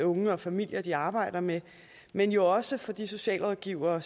unge og familier de arbejder med men jo også for de socialrådgivere